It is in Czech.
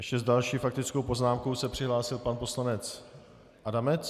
Ještě s další faktickou poznámkou se přihlásil pan poslanec Adamec.